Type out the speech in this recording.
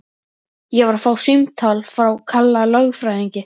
Ég var að fá símtal frá Kalla lögfræðingi.